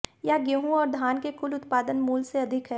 यह गेहूं और धान के कुल उत्पादन मूल्य से अधिक है